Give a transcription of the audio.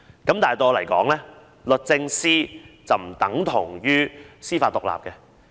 可是，對我來說，律政司並不等同於司法獨立。